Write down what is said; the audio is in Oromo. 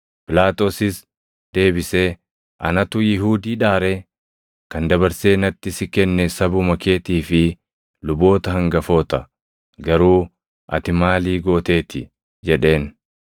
Phiilaaxoosis deebisee, “Anatu Yihuudiidhaa ree? Kan dabarsee natti si kenne sabuma keetii fi luboota hangafoota. Garuu ati maali gooteeti?” jedheen.